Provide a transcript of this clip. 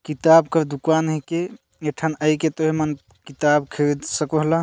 किताब का दुकान हे कि ए ठन आई के तुय मन किताब खरीद सकोला।